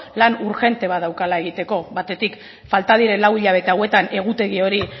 lan urgente bat daukala egiteko batetik falta diren lau hilabete hauetan egutegi hori